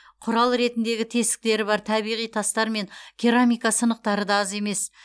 құрал ретіндегі тесіктері бар табиғи тастар мен керамика сынықтары да аз емес